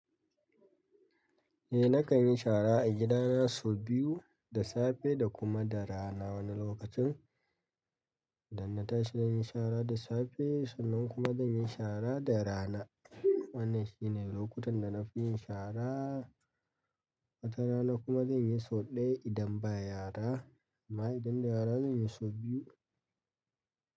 Eh nakan yin shara a gidana sau biyu, da safe da kuma da rana. Wani lokacin idan na tashi nayi shara da safe, sannan kuma zan yi shara da rana. Wannan shine lokutan da na fi yin shara. Wata rana kuma zan yi sau ɗaya idan ba yara amma idan da yara zan yi sau biyu.